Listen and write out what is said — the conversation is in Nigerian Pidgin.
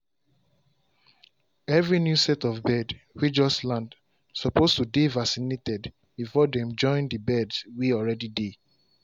every new set of bird way just land suppose to dey vaccinated before dem join the birds way already dey.